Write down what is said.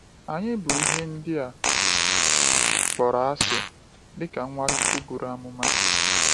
Anyị bụ “ihe ndị a kpọrọ asị,” dịka Nwachukwu buru amụma.